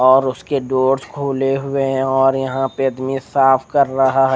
और उसके डोर खुले हुए है और यह पे मिस साफ़ क्र रहजा है।